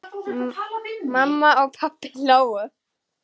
Mamma og pabbi hlógu.